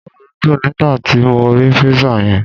Inúmídun nígbàti mo ri Pizza yen